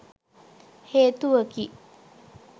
හේතුවකි.